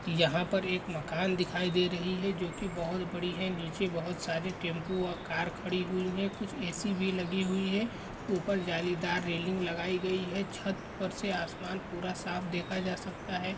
यहाँ पर एक मकान दिखाई दे रही हैं जो कि बहोत बड़ी हैं नीचे बहोत सारे टेम्पू और कार खड़ी हुई हैं कुछ ए सी. भी लगी हुई हैं ऊपर जालीदार रेलिंग लगाई गयी हैं छत पर से आसमान पूरा साफ़ देखा जा सकता हैं।